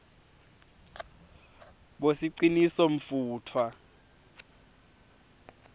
bosicinisomfutfwa